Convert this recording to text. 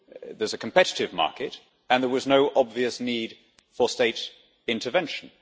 There is a competitive market, and there was no obvious need for state intervention.